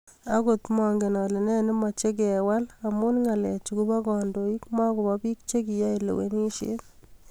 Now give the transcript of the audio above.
Akot mangen ale ne nemache kewal amu ngalechu kobo kandoik makobo bik chekiyae lewenishet.